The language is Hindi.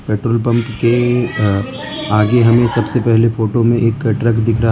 पेट्रोल पंप के अह आगे हमें सबसे पहले फोटो में एक ट्रक दिख रहा --